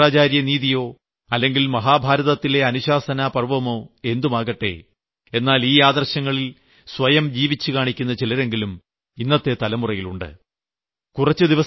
ഗീതയോ ശുക്രാചാര്യനീതിയോ അല്ലെങ്കിൽ മഹാഭാരതത്തിലെ അനുശാസനാ പർവ്വമോ എന്തുമാകട്ടെ എന്നാൽ ഈ ആദർശങ്ങളിൽ സ്വയം ജീവിച്ചുകാണിക്കുന്ന ചിലരെങ്കിലും ഇന്നത്തെ തലമുറയിലും ഉണ്ട്